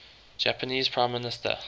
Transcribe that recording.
japanese prime minister